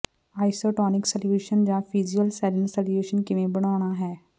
isotonic solutions ਜਾਂ physiological saline solution ਕਿਵੇਂ ਬਣਾਉਣਾ ਹੈ